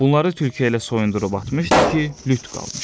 Bunları tülkü elə soyundurub atmışdı ki, lüt qalmışdı.